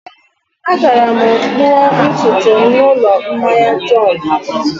Agara m kpụọ ntutu m n'ụlọ mmanya John.